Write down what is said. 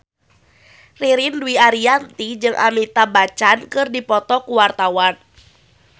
Ririn Dwi Ariyanti jeung Amitabh Bachchan keur dipoto ku wartawan